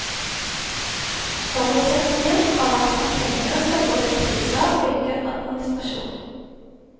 Forutsetningen har vært at pengene skal gå til priser og ikke administrasjon.